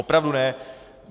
Opravdu ne!